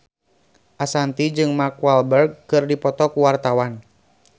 Ashanti jeung Mark Walberg keur dipoto ku wartawan